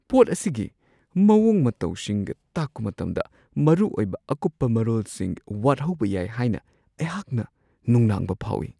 ꯄꯣꯠ ꯑꯁꯤꯒꯤ ꯃꯋꯣꯡ -ꯃꯇꯧꯁꯤꯡ ꯇꯥꯛꯄ ꯃꯇꯝꯗ ꯃꯔꯨꯑꯣꯏꯕ ꯑꯀꯨꯞꯄ ꯃꯔꯣꯜꯁꯤꯡ ꯋꯥꯠꯍꯧꯕ ꯌꯥꯏ ꯍꯥꯏꯅ ꯑꯩꯍꯥꯛꯅ ꯅꯨꯡꯅꯥꯡꯕ ꯐꯥꯎꯋꯤ ꯫